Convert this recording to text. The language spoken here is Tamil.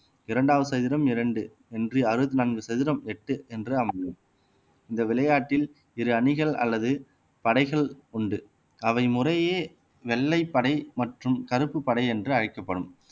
இரண்டாவது சதுரம் இரண்டு என்று அறுபத்தி நான்கு சதுரம் எட்டு என்று அமையும் இந்த விளையாட்டில் இரு அணிகள் அல்லது படைகள் உண்டு அவை முறையே வெள்ளைப்படை மற்றும் கருப்பு படை என்று அழைக்கப்படும்